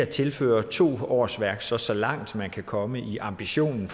tilføre to årsværk så så langt man kan komme i ambitionen